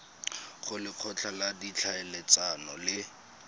go lekgotla la ditlhaeletsano le